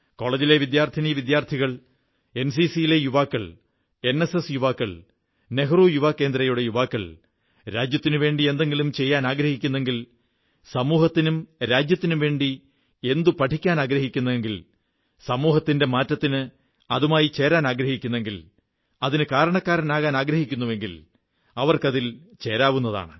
കോളജിലെ വിദ്യാർഥിനീവിദ്യാർഥികൾ എൻസിസിയിലെ യുവാക്കൾ എൻഎസ്എസ് നെഹ്റു യുവ കേന്ദ്ര വളന്റിയർമാർ എന്നിവർ രാജ്യത്തിനുവേണ്ടി എന്തെങ്കിലും ചെയ്യാനാഗ്രഹിക്കുന്നെങ്കിൽ സമൂഹത്തിനും രാജ്യത്തിനും വേണ്ടി എന്തെങ്കിലും പഠിക്കാനാഗ്രഹിക്കുന്നെങ്കിൽ സമൂഹത്തിന്റെ മാറ്റത്തിന് അതുമായി ചേരാനാഗ്രഹിക്കുന്നെങ്കിൽ അതിന് കാരണക്കാരാകാനാഗ്രഹിക്കുന്നെങ്കിൽ അവർക്കിതിൽ ചേരാം